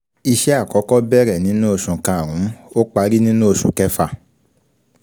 Kókó ọ̀rọ̀ yìí ni " àsìkò ní ọjọ́" bí i ti osù.